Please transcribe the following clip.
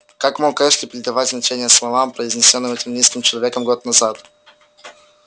как мог эшли придавать значение словам произнесённым этим низким человеком год назад